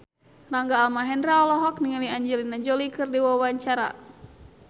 Rangga Almahendra olohok ningali Angelina Jolie keur diwawancara